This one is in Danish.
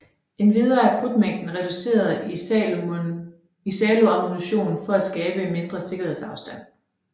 Endvidere er krudtmængden reduceret i salonammunition for at skabe en mindre sikkerhedsafstand